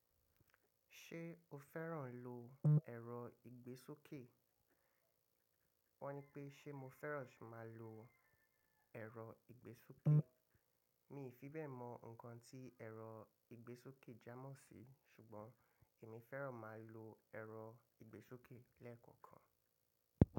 Ṣé o fẹ́ràn lo ẹ̀rọ ìgbésókè? Wọ́n ní pé ṣé mo fẹ́ràn ṣoma lo ẹ̀rọ ìgbésókè. Mi ò fi bẹ́ẹ̀ mọ nǹkan tí ẹ̀rọ ìgbésókè jámọ̀ sí, ṣùgbọ́n èmi fẹ́ràn máa lo ẹ̀rọ ìgbésókè lẹ́ẹ̀kan kan.